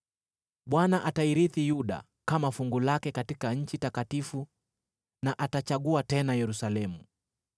Bwana atairithi Yuda kama fungu lake katika nchi takatifu na atachagua tena Yerusalemu.